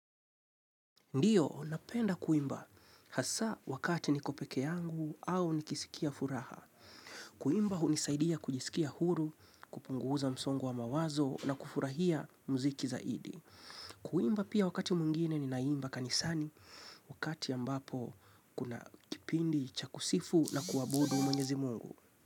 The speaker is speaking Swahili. Ndio, napenda kuimba, hasaa wakati niko pekee yangu au nikisikia furaha. Kuimba unisaidia kujisikia huru, kupunguza msongo wa mawazo na kufurahia muziki zaidi. Kuimba pia wakati mwingine ninaimba kanisani, wakati ambapo kuna kipindi chakusifu na kuabudu mweyezi Mungu.